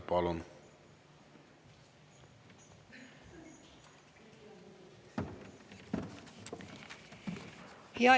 Palun!